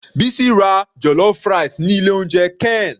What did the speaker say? Bisi ra jollof rice ni ilé oúnjẹ ken.